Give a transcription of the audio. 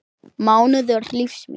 mánuður lífs míns.